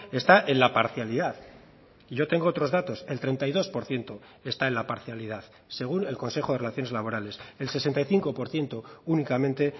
está en la parcialidad y yo tengo otros datos el treinta y dos por ciento está en la parcialidad según el consejo de relaciones laborales el sesenta y cinco por ciento únicamente